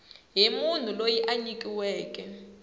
hi munhu loyi a nyikiweke